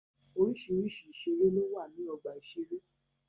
Oríṣiríṣi ìṣeré ló wà ní ọgbà ìṣeré.